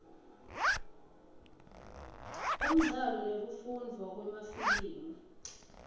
umdlalo nekufundvwa kwemafilimu